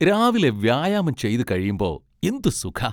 രാവിലെ വ്യായാമം ചെയ്തു കഴിയുമ്പോ എന്ത് സുഖാ!